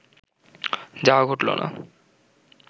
যাওয়া ঘটল না।